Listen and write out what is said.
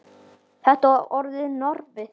Þetta var orðið normið.